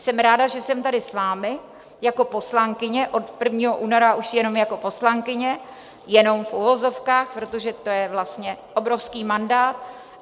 Jsem ráda, že jsem tady s vámi jako poslankyně, od 1. února už jenom jako poslankyně, jenom v uvozovkách, protože to je vlastně obrovský mandát.